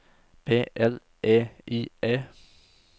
P L E I E